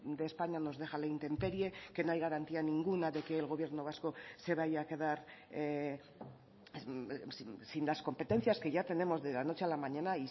de españa nos deja a la intemperie que no hay garantía ninguna de que el gobierno vasco se vaya a quedar sin las competencias que ya tenemos de la noche a la mañana